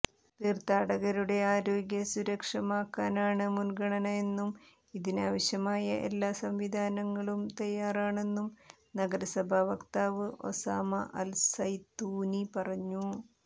തീര്ഥാടകരുടെ ആരോഗ്യ സുരക്ഷമാക്കാനാണ് മുന്ഗണന എന്നും ഇതിവാവശ്യമായ എല്ലാ സംവിധാനങ്ങളും തയ്യാറാണെന്നും നഗരസഭാ വക്താവ് ഒസാമ അല് സൈതൂനി പറഞ്ഞു